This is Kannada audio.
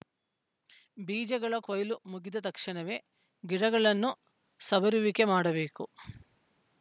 ಬೀಜಗಳ ಕೊಯ್ಲು ಮುಗಿದ ತಕ್ಷಣವೇ ಗಿಡಗಳನ್ನು ಸವರುವಿಕೆ ಮಾಡಬೇಕು